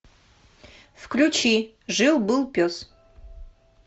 включи жил был пес